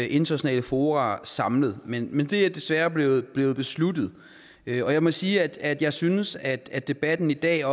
internationale fora samlet men men det er desværre blevet blevet besluttet jeg må sige at jeg synes at debatten i dag